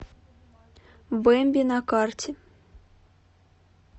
бэмби на карте